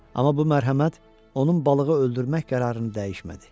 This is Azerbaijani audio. Amma bu mərhəmət onun balığı öldürmək qərarını dəyişmədi.